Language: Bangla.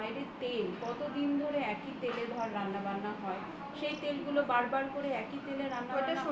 বাইরের তেল কতদিন ধরে ওই একই তেলে রান্নাবান্না হয় সেই তেলগুলো বারবার করে একই তেলে